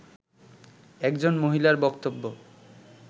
একজন মহিলার বক্তব্য